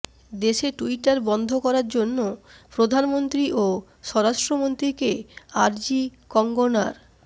দেশে টুইটার বন্ধ করার জন্য প্রধানমন্ত্রী ও স্বরাষ্ট্রমন্ত্রীকে আর্জি কঙ্গনার